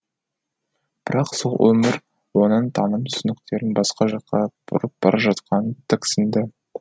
бірақ сол өмір оның таным түсініктерін басқа жаққа бұрып бара жатқанын тіксінді